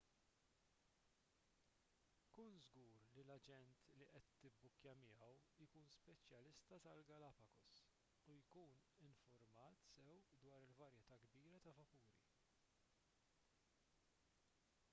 kun żgur li l-aġent li qed tibbukkja miegħu jkun speċjalista tal-galapagos u jkun infurmat sew dwar il-varjetà kbira ta' vapuri